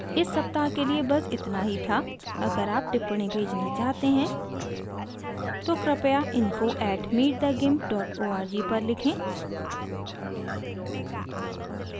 इस सप्ताह के लिए this इतना ही था अगर आप टिप्पणी भेजना चाहते हैं तो कृपया info @meetthegimp org पर लिखें